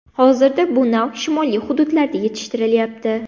Hozirda bu nav shimoliy hududlarda yetishtirilyapti.